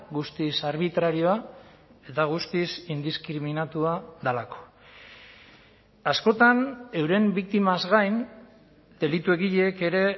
guztiz arbitrarioa eta guztiz indiskriminatua delako askotan euren biktimaz gain delitu egileek ere